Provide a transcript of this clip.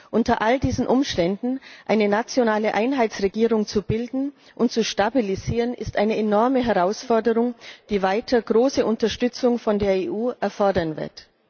Unter all diesen Umständen eine nationale Einheitsregierung zu bilden und zu stabilisieren, ist eine enorme Herausforderung, die weiter große Unterstützung von der EU erfordern wird.